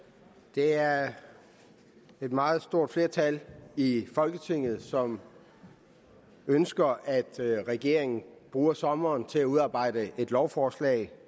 det er et meget stort flertal i folketinget som ønsker at regeringen bruger sommeren til at udarbejde et lovforslag